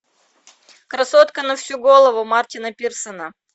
красотка на всю голову мартина пирсона